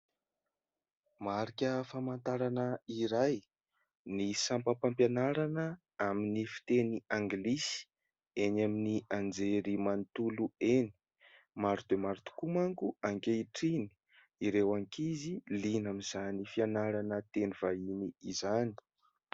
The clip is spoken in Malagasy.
Marika famantarana iray, ny sampam-pampianarana amin'ny fiteny Anglisy eny amin'ny anjerimanotolo eny. Maro dia maro tokoa manko ankehitriny ireo ankizy liana amin'izany fianarana teny vahiny izany.